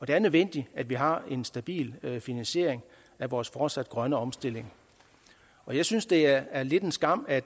det er nødvendigt at vi har en stabil finansiering af vores fortsatte grønne omstilling jeg synes det er lidt en skam at